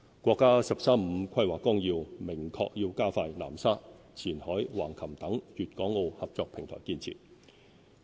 國家"十三五"規劃綱要明確要加快南沙、前海、橫琴等粵港澳合作平台建設。